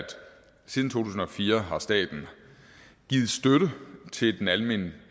siden to tusind og fire har staten givet støtte til den almennyttige